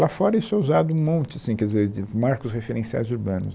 Lá fora isso é usado um monte, assim, quer dizer, de marcos referenciais urbanos.